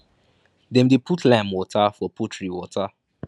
dem dey put lime water for poultry water